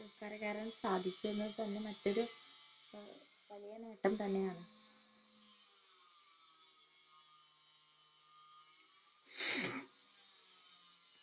കരകയറാൻ സാധിച്ചതിനെ തന്നെ മറ്റൊരു വലിയ നേട്ടം തന്നെയാണ്